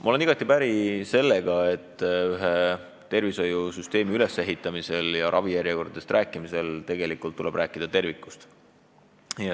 Ma olen igati päri sellega, et tervishoiusüsteemi ülesehitamisel ja ravijärjekordadest rääkimisel tuleb tegelikult rääkida tervikust.